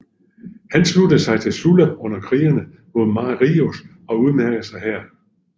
Han sluttede sig til Sulla under krigene mod Marius og udmærkede sig her